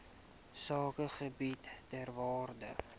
sakegebiede ter waarde